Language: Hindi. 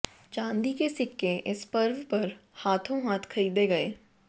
चांदी के सिक्के इस पर्व पर हाथों हाथ खरीदे गए